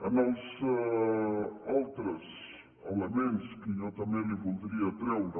en els altres elements que jo també li voldria treure